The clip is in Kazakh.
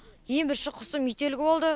ең бірінші құсым ителгі болды